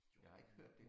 Jeg har ikke hørt det